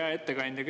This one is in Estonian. Hea ettekandja!